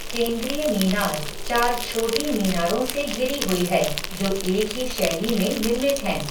केंद्रीय मीनार चार छोटी मीनारों से घिरी हुई है, जो एक ही शैली में निर्मित हैं।